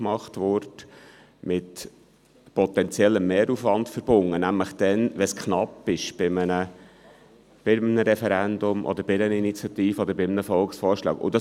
Dies wäre mit potenziellem Mehraufwand verbunden, wenn es bei einem Referendum, einer Initiative oder einem Volksvorschlag knapp wird.